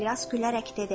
İlyas gülərək dedi: